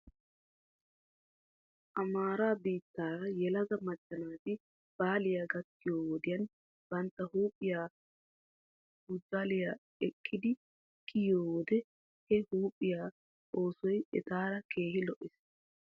Amaara biittaara yelaga macca naati baalay gakkiyoo wodiyan bantta huuphphiyaa pujlayi ekkidi kiyiyoo wode he huuphphiyaa oosoy etaara keehi lo'ees.